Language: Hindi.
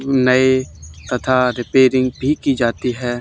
नए तथा रिपेयरिंग भी की जाती है।